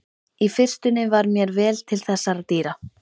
Í fyrstunni var mér vel til þessara dýra.